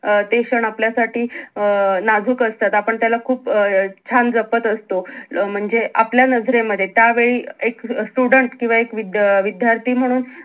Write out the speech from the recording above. अं ते क्षण आपल्या साठी अं नाजूक असतात आपण त्याला खूप अं छान जपत असतो अं म्हणजे आपल्या नजरे मध्ये त्या वेळी एक student किंवा एक विद्या अं विध्यार्थी म्हणून